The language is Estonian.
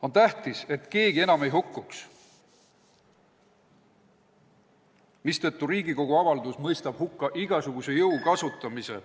On tähtis, et keegi enam ei hukkuks, mistõttu Riigikogu avaldus mõistab hukka igasuguse jõu kasutamise ...